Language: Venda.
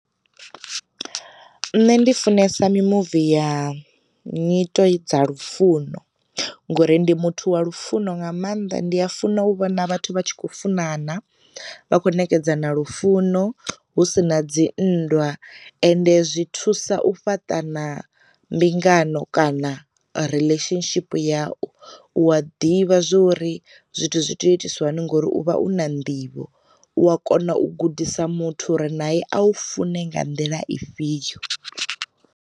Nṋe ndi funesa mi muvi ya nyito dza lufuno ngori ndi muthu wa lufuno nga maanḓa ndi funa u vhona vhathu vha tshi khou funana, vha kho nekedzana lufuno hu sina dzi nndwa, ende zwi thusa u fhaṱa na mbingano kana relationship yau, u a ḓivha zwori zwithu zwi tea itiswa hani ngori uvha u na nḓivho, u a kona u gudisa muthu uri nae a u fune nga nḓila i fhiyo.